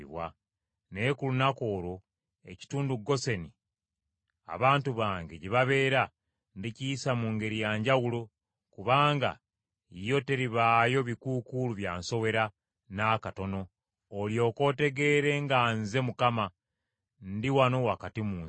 “ ‘Naye ku lunaku olwo, ekitundu Goseni abantu bange gye babeera ndikiyisa mu ngeri ya njawulo; kubanga yo teribaayo bikuukuulu bya nsowera n’akatono, olyoke otegeere nga nze, Mukama , ndi wano wakati mu nsi.